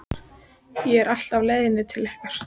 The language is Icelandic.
Ég er alltaf á leiðinni til ykkar.